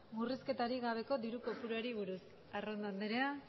murrizketarik gabeko diru kopuruari buruz arrondo andrea